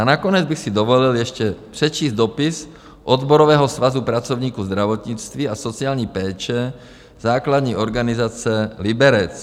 A nakonec bych si dovolil ještě přečíst dopis Odborového svazu pracovníků zdravotnictví a sociální péče, základní organizace Liberec.